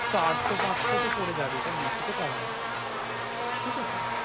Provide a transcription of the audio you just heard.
চারশো পাঁচশো তো পরে যাবেই তার বেশি তো কম নয়।